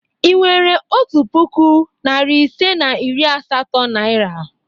Ị nwere otu puku, narị ise na iri asatọ naịra?